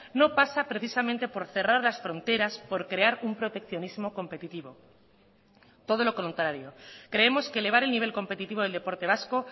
no pasa precisamente por cerrar las fronteras por crear un proteccionismo competitivo todo lo contrario creemos que elevar el nivel competitivo del deporte vasco